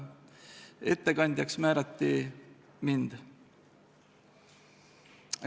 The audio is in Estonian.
Ettekandjaks määrati mind.